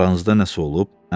Aranızda nəsə olub?